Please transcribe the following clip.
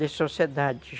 De sociedade.